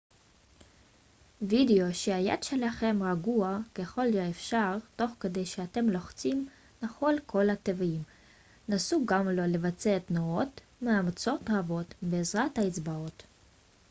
וודאו שהיד שלכם רגועה ככל האפשר תוך כדי שאתם לוחצים נכון על כל התווים נסו גם לא לבצע תנועות מאומצות רבות בעזרת האצבעות